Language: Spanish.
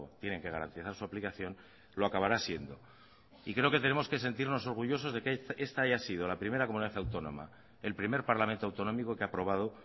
tienen que garantizar su aplicación lo acabará siendo y creo que tenemos que sentirnos orgullosos de que esta haya sido la primera comunidad autónoma el primer parlamento autonómico que ha aprobado